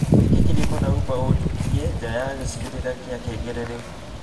Ũige kirĩko na Uber ũnjũke nja ya gĩcigĩrĩra gia Kengele rĩu